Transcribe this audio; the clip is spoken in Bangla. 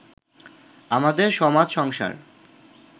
আমাদের সমাজসংসার